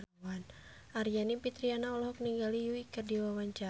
Aryani Fitriana olohok ningali Yui keur diwawancara